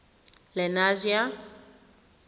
lenasia